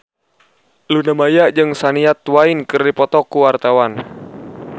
Luna Maya jeung Shania Twain keur dipoto ku wartawan